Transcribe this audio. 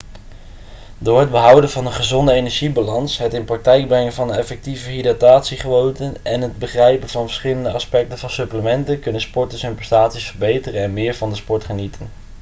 door het behouden van een gezonde energiebalans het in de praktijk brengen van effectieve hydratatiegewoonten en het begrijpen van de verschillende aspecten van supplementen kunnen sporters hun prestaties verbeteren en meer van de sport genieten